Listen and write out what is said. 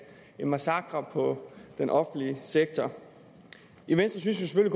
en massakre på den offentlige sektor i venstre synes vi